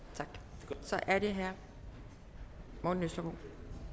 tak så er det herre morten østergaard